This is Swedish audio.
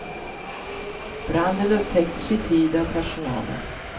Branden upptäcktes i tid av personalen.